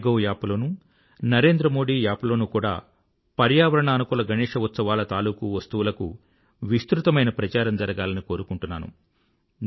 my gov app లోనూ Narendra Modi app లోనూ కూడా పర్యావరణానుకూల గణేశ ఉత్సవాల తాలూకూ వస్తువులకు విస్తృతమైన ప్రచారం జరగాలని కోరుకుంటున్నాను